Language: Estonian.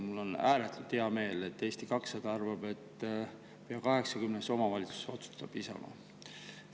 Mul on ääretult hea meel, et Eesti 200 arvab, et pea 80 omavalitsuses otsustab Isamaa.